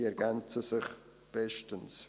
Diese ergänzen sich bestens.